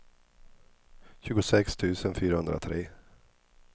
tjugosex tusen fyrahundratre